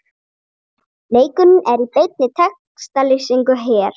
Leikurinn er í beinni textalýsingu hér